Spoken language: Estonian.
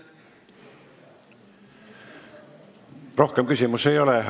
Rohkem küsimusi ei ole.